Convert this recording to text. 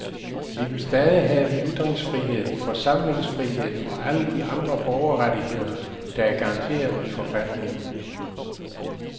Vi vil stadig have ytringsfrihed, forsamlingsfrihed og alle de andre borgerrettigheder, der er garanteret i forfatningen.